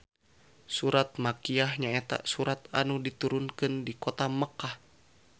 Surat Makiyyah nyaeta surat anu diturunkeun di kota Mekkah